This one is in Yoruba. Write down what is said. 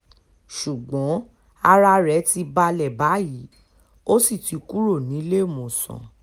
ṣùgbọ́n ara rẹ̀ ti balẹ̀ báyìí ó sì ti kúrò níléemọ̀sán